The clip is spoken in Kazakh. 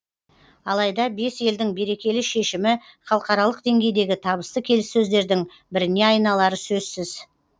алайда бес елдің берекелі шешімі халықаралық деңгейдегі табысты келіссөздердің біріне айналары сөзсіз